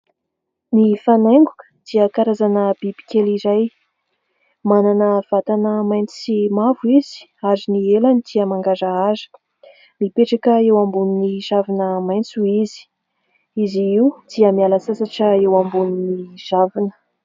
Ny fanaingoka dia karazana biby kely iray. Manana vatana maitso sy mavo izy ary ny elany dia mangarahara. Mipetraka eo ambonin'ny ravina maitso izy. Izy io dia miala sasatra eo ambony ravina.